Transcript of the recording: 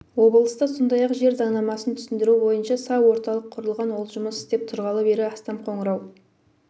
облыста сондай-ақ жер заңнамасын түсіндіру бойынша са орталық құрылған ол жұмыс істеп тұрғалы бері астам қоңырау